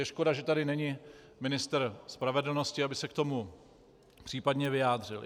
Je škoda, že tady není ministr spravedlnosti, aby se k tomu případně vyjádřil.